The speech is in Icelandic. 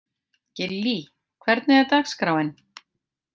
Gillý, hvernig er dagskráin?